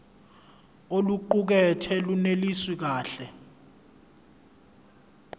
oluqukethwe lunelisi kahle